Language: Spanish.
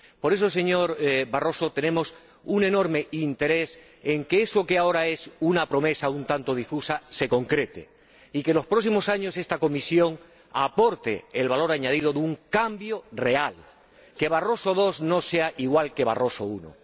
Por eso, señor Barroso, tenemos un enorme interés en que eso que ahora es una promesa un tanto difusa se concrete y que, en los próximos años, esta Comisión aporte el valor añadido de un cambio real, que Barroso II no sea igual que Barroso I.